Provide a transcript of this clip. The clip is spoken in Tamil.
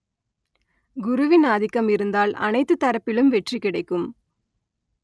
குருவின் ஆதிக்கம் இருந்தால் அனைத்து தரப்பிலும் வெற்றி கிடைக்கும்